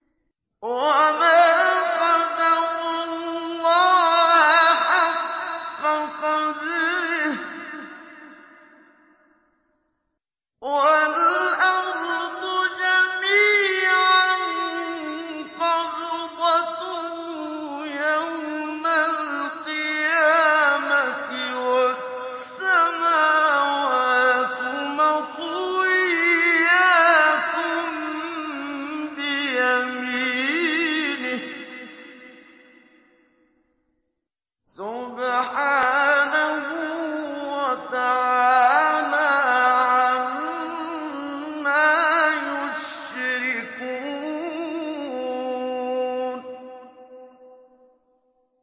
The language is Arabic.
وَمَا قَدَرُوا اللَّهَ حَقَّ قَدْرِهِ وَالْأَرْضُ جَمِيعًا قَبْضَتُهُ يَوْمَ الْقِيَامَةِ وَالسَّمَاوَاتُ مَطْوِيَّاتٌ بِيَمِينِهِ ۚ سُبْحَانَهُ وَتَعَالَىٰ عَمَّا يُشْرِكُونَ